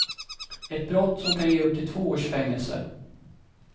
Ett brott som kan ge upp till två års fängelse.